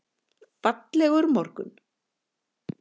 Fallegur morgun!